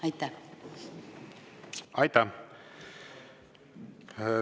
Aitäh!